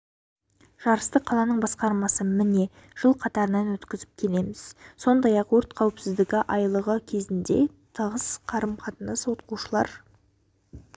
жарысты қаланың басқармасы міне жыл қатарынан өткізіп келеміз сондай-ақ өрт қауіпсіздігі айлығы кезінде тығыс қарым-қатынастамыз оқушылар